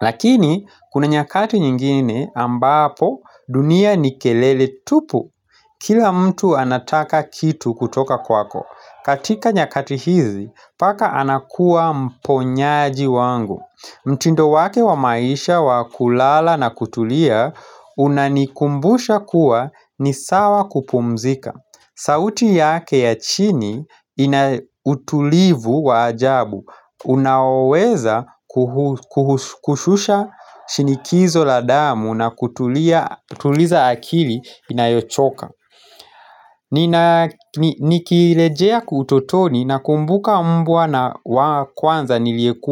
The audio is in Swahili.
Lakini, kuna nyakati nyingine ambapo dunia ni kelele tupu Kila mtu anataka kitu kutoka kwako katika nyakati hizi, paka anakuwa mponyaji wangu mtindo wake wa maisha wa kulala na kutulia Unanikumbusha kuwa ni sawa kupumzika sauti yake ya chini inautulivu wa ajabu Unaweza kuhushusha shinikizo la damu na kutuliza akili inayochoka Nikilejea kutotoni na kumbuka mbwa na kwanza niliyekuwa.